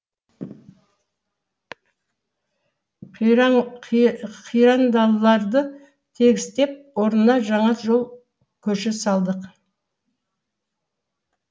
қирандыларды тегістеп орнына жаңа жол көше салдық